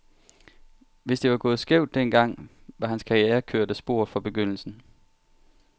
Hvis det var gået skævt den gang, var hans karriere kørt af sporet fra begyndelsen.